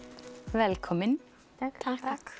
velkomin takk